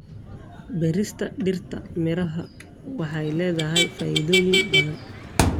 Beerista dhirta miraha waxay leedahay faa'iidooyin badan.